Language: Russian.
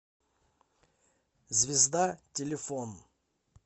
звезда телефон